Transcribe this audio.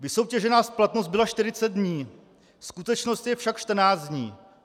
Vysoutěžená splatnost byla 40 dní, skutečnost je však 14 dní.